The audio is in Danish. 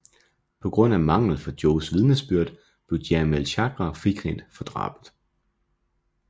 På grund af mangel fra Joes vidnesbyrd blev Jamiel Chagra frikendt for drabet